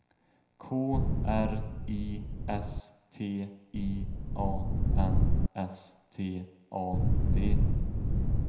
K R I S T I A N S T A D